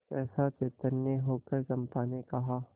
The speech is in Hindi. सहसा चैतन्य होकर चंपा ने कहा